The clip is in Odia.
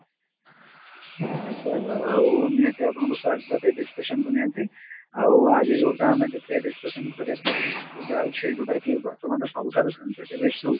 ଆ sir ଆଉ ନିହାତି ଆପଣଙ୍କୁ ସ୍ଵାଗତ ଏଇ discussion କୁ ନିହାତି ଆଉ ଆଜି ଯଉଟା ଆମେ ଟିକେ discussion କରିବାକୁ ଯାଉଛେ ଯଉଟାକି ବର୍ତମାନ ସବୁଠାରୁ sensitive issue